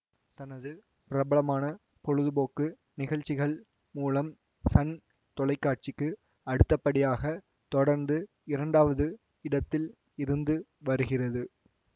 தனது பிரபலமான பொழுதுபோக்கு நிகழ்ச்சிகள் மூலம் சன் தொலை காட்சிக்கு அடுத்தபடியாக தொடர்ந்து இரண்டாவது இடத்தில் இருந்து வருகிறது